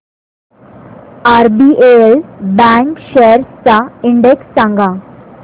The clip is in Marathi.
आरबीएल बँक शेअर्स चा इंडेक्स सांगा